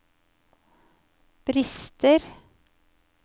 brister